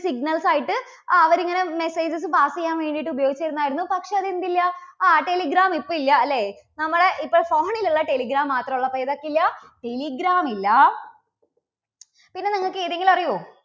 signals ആയിട്ട് അവരിങ്ങനെ messages pass ചെയ്യാൻ വേണ്ടിയിട്ട് ഉപയോഗിച്ചിരുന്നതായിരുന്നു. പക്ഷേ അത് എന്ത് ഇല്ല, ആ telegram ഇപ്പോ ഇല്ല, അല്ലേ. നമ്മുടെ ഇപ്പോൾ phone ലുള്ള telegram മാത്രം ഉള്ളപ്പോൾ. ഇപ്പോൾ എന്ത് ഇല്ല, telegram ഇല്ല, പിന്നെ നിങ്ങൾക്ക് ഏതെങ്കിലും അറിയോ?